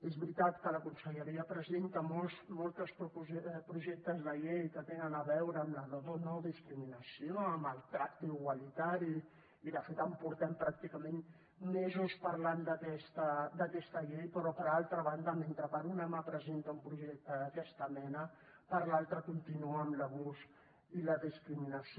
és veritat que la conselleria presenta molts projectes de llei que tenen a veure amb la no discriminació amb el tracte igualitari i de fet portem pràcticament mesos parlant d’aquesta llei però per altra banda mentre per una mà presenta un projecte d’aquesta mena per l’altra continua amb l’abús i la discriminació